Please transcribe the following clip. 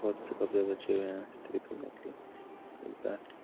बहुत से कपड़े बचे हुए है स्त्री करने के लिए कई का है।